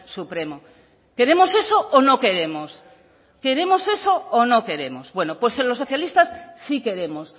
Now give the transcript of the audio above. supremo queremos eso o no queremos queremos eso o no queremos bueno pues los socialistas sí queremos